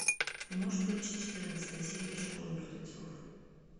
ты можешь включить четырнадцатая серия школа мертвецов